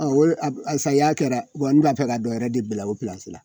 o le a saya kɛra n b'a fɛ ka dɔ wɛrɛ de bila o